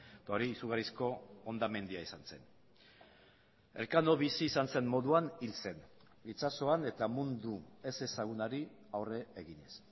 eta hori izugarrizko hondamendia izan zen elkano bizi izan zen moduan hil zen itsasoan eta mundu ezezagunari aurre eginez